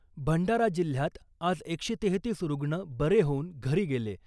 भंडारा जिल्हयात आज एकशे तेहेतीस रुग्ण बरे होऊन घरी गेले .